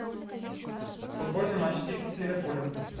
футбольный матч сити с ливерпулем